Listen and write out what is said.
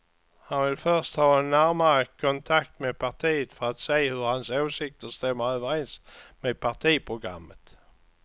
Han vill först ha en närmare kontakt med partiet för att se hur hans åsikter stämmer överens med partiprogrammet.